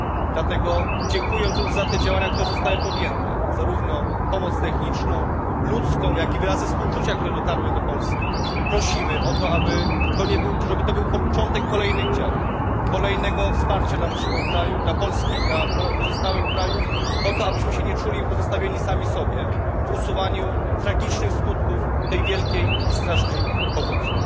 Dlatego dziękując już za te działania, które zostały podjęte zarówno pomoc techniczną, ludzką, jak i wyrazy współczucia, które dotarły do Polski prosimy o to, aby to był początek kolejnych działań, kolejnego wsparcia dla naszego kraju, dla Polski, dla pozostałych krajów po to, abyśmy się nie czuli pozostawieni sami sobie w usuwaniu tragicznych skutków tej wielkiej i strasznej powodzi.